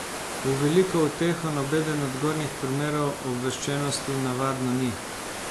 V veliko uteho nobeden od gornjih primerov obveščenosti navadno ni.